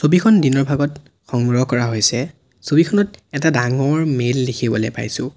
ছবিখন দিনৰ ভাগত সংগ্ৰহ কৰা হৈছে ছবিখনত এটা ডাঙৰ মেল দেখিবলৈ পাইছোঁ।